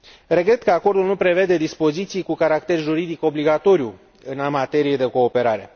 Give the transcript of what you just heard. Regret că acordul nu prevede dispoziții cu caracter juridic obligatoriu în materie de cooperare.